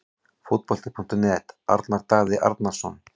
Fótbolti.net- Arnar Daði Arnarsson